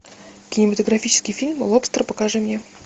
кинематографический фильм лобстер покажи мне